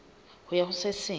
ho ya ho se seng